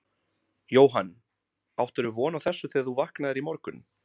Jóhann: Áttirðu von á þessu þegar þú vaknaðir í morgun?